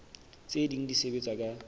tse ding di sebetsa ka